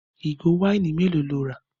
Ìgò wáìnì mélòó lo rà?